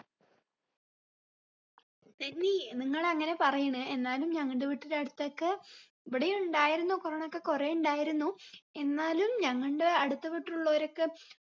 നനി നിങ്ങൾ അങ്ങനെ പറയണേ എന്നാലും ഞങ്ങടെ വീട്ടിന്റെ അടുത്തൊക്കെ ഇവിടെയും ഇണ്ടായിരുന്നു corona ഒക്കെ കൊറേ ഇണ്ടായിരുന്നു എന്നാലും ഞങ്ങണ്ടെ അടുത്ത വീട്ടിൽ ഉള്ളവരൊക്കെ